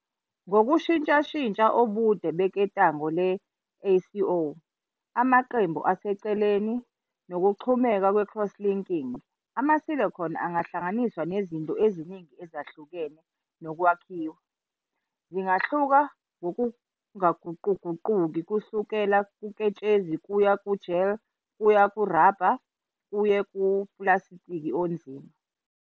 Ngokushintshashintsha ubude beketanga le-iSi - O-, amaqembu asemaceleni, nokuxhumeka kwe-crosslinking, ama-silicone angahlanganiswa nezinto eziningi ezahlukahlukene nokwakhiwa. Zingahluka ngokungaguquguquki kusuka kuketshezi kuya ku-gel kuye kuraba kuye kupulasitiki onzima.